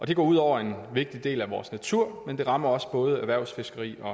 det går ud over en vigtig del af vores natur men det rammer også både erhvervsfiskeriet og